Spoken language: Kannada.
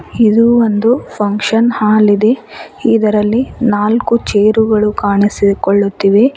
ಇದು ಒಂದು ಫಂಕ್ಷನ್ ಹಾಲ್ ಇದೆ ಇದರಲ್ಲಿ ನಾಲ್ಕು ಚೇರುಗಳು ಕಾಣಿಸಿಕೊಳ್ಳುತ್ತಿವೆ.